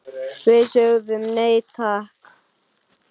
Við sögðum nei, takk!